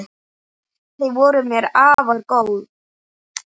Þau voru mér afar góð.